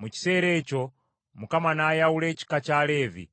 Mu kiseera ekyo Mukama n’ayawula ekika kya Leevi